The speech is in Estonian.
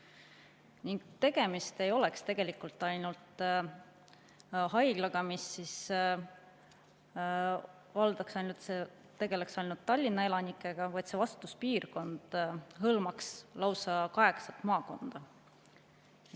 Ning tegemist ei oleks ainult haiglaga, mis tegeleks ainult Tallinna elanikega, vaid selle vastutuspiirkond hõlmaks lausa kaheksat maakonda.